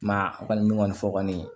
I m'a ye a kɔni fɔ kɔni